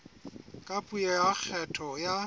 ka puo ya kgetho ya